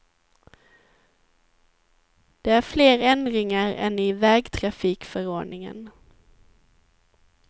Det är fler ändringar än i vägtrafikförordningen.